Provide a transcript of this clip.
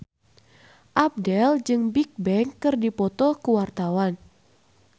Abdel jeung Bigbang keur dipoto ku wartawan